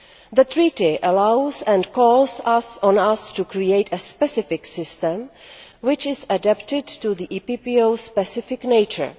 The Treaty allows and calls on us to create a specific system which is adapted to the EPPO's specific nature.